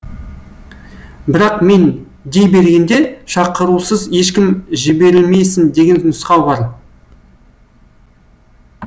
бірақ мен дей бергенде шақырусыз ешкім жіберілмесін деген нұсқау бар